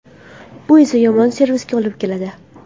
Bu esa yomon servisga olib keladi.